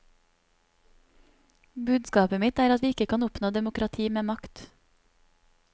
Budskapet mitt er at vi ikke kan oppnå demokrati med makt.